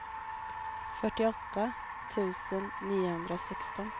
fyrtioåtta tusen niohundrasexton